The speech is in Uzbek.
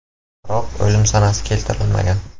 Biroq o‘lim sanasi keltirilmagan.